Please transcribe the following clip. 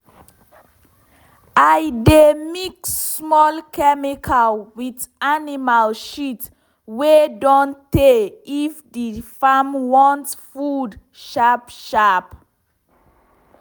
i dey mix small chemical with animal shit wey don tey if the farm want food sharp sharp.